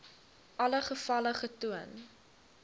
alle gevalle getoon